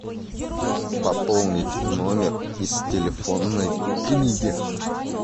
пополнить номер из телефонной книги